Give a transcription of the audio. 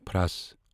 فرٛس